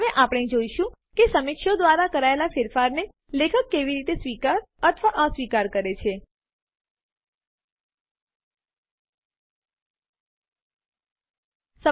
હવે આપણે જોઈશું કે સમીક્ષકો દ્વારા કરાયેલ ફેરફારો ને લેખક કેવી રીતે સ્વીકાર અથવા અસ્વીકાર કરી શકે